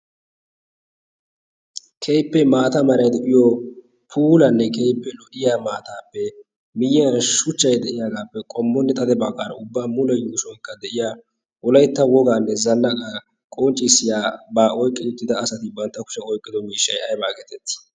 keippe maata marai do7iyo puulanne keippe lodiya maataappe miyyiyan shuchchai de7iyaagaappe qommonne xade baakaara ubba mulen gushuwankka de7iya olaitta wogaanne zannaa qonccissiyaa baa oiqqi uttida asati bantta kusha oiqqido miishshai aibaa egeetettii?